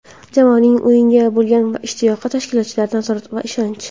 Jamoaning o‘yinga bo‘lgan ishtiyoqi, tashkilotchilik, nazorat va ishonch.